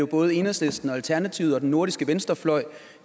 både enhedslisten og alternativet og den nordiske venstrefløj